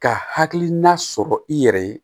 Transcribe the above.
Ka hakilina sɔrɔ i yɛrɛ ye